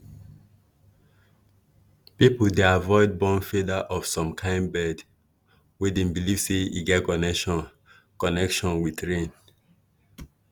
people dey avoid burn feather of some kain bird wey dem believe say e get connection connection with rain.